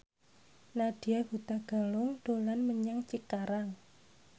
Nadya Hutagalung dolan menyang Cikarang